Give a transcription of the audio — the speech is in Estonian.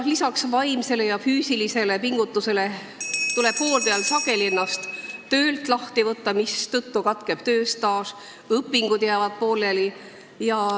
Lisaks vaimsele ja füüsilisele pingutusele tuleb hooldajal sageli ennast töölt lahti võtta, mistõttu katkeb tööstaaž, õpingud jäävad pooleli.